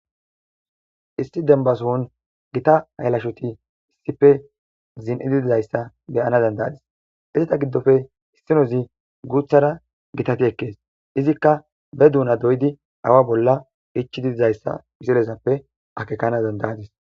Isti denbasohon gita haylashoti issife zin7ididizayssa beyana dandayadis izita giddofe hissinozi guuthara gitati ekkees izikka be duuna doydi awa bolla ichididizayssa pisilezappe akekana dandayadis.